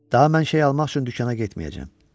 Daha mən şey almaq üçün dükana getməyəcəm.